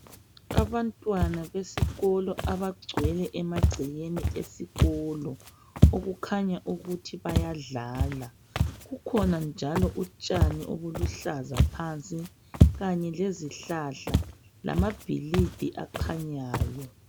Abantwana besikolo abagcwele emagcekeni esikolo okukhanya ukuthi bayadlala kukhona njalo utshani obuluhlaza phansi kanye lezihlahla lamabhilidi akhanyayo.